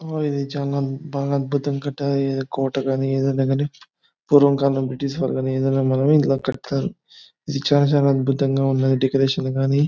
ఆ ఇది బ చాల అద్భుతం గ కట్టారు. ఇది కోట గని ఏదైనా గని పూర్వకాలం బ్రిటిష్ వాళ్ళు కానీ ఈదినకాని ఇలా కట్టారు . ఇది చాల చాల అద్భుతం గ ఉంది. డెకరేషన్ గని--